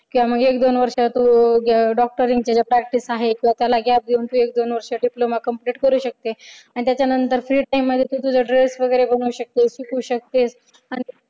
किंवा मग एक दोन वर्ष तू doctor यांच्या practice आहे त्याला gap देऊन एक दोन वर्षाचा diploma complete करू शकते आणि त्याच्यानंतर free time मध्ये तू तुझा dress वगैरे बनवू शकते. शिकू शकतेस